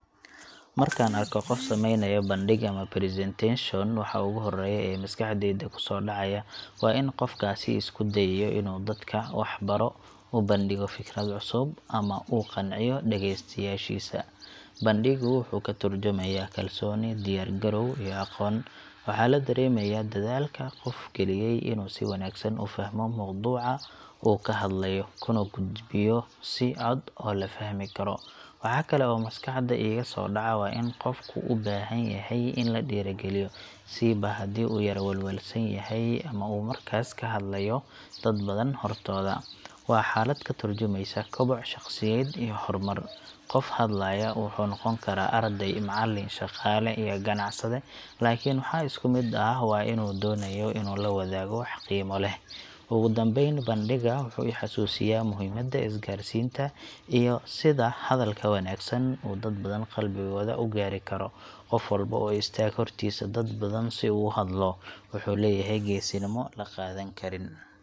Markaan arko qof samaynaya bandhig ama presentation, waxa ugu horreeya ee maskaxdayda ku soo dhacaya waa in qofkaasi isku dayayo inuu dadka wax baro, u bandhigo fikrad cusub, ama uu qanciyo dhagaystayaashiisa. Bandhiggu wuxuu ka tarjumayaa kalsooni, diyaar garow, iyo aqoon. Waxaa la dareemayaa dadaalka qofka geliyay inuu si wanaagsan u fahmo mowduuca uu ka hadlayo, kuna gudbiyo si cad oo la fahmi karo. Waxa kale oo maskaxda iiga soo dhaca waa in qofku u baahan yahay in la dhiirrigeliyo, siiba haddii uu yara walwalsan yahay ama uu markaas ka hadlayo dad badan hortooda. Waa xaalad ka tarjumeysa koboc shaqsiyadeed iyo horumar. Qofka hadlaya wuxuu noqon karaa arday, macallin, shaqaale, ama ganacsade – laakiin waxa isku mid ah waa inuu doonayo inuu la wadaago wax qiimo leh. Ugu dambayn, bandhigga wuxuu i xasuusiyaa muhiimada isgaarsiinta iyo sida hadalka wanaagsan uu dad badan qalbigooda u gaari karo. Qof walba oo istaaga hortiisa dad si uu u hadlo, wuxuu leeyahay geesinimo la qadan karo.